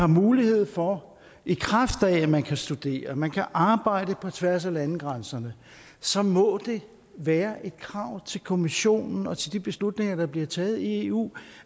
mulighed for at man kan studere og man kan arbejde på tværs af landegrænserne så må det være et krav til kommissionen og til de beslutninger der bliver taget i eu